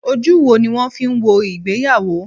Ojú wo ni wọ́n fi ń wo ìgbéyàwó?